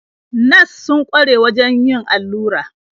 Nas sun kware wajen yin allura.